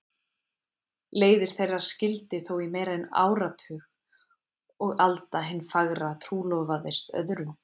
Leiðir þeirra skildi þó í meira en áratug og Alda hin fagra trúlofaðist öðrum.